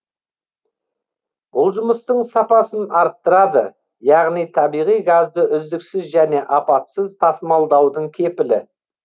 бұл жұмыстың сапасын арттырады яғни табиғи газды үздіксіз және апатсыз тасымалдаудың кепілі